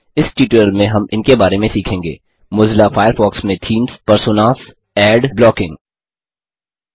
इस ट्यूटोरियल में हम इनके बारे में सीखेंगेः मोज़िला फ़ायरफ़ॉक्स में थीम्स पर्सोनास एडविज्ञापन ब्लॉकिंग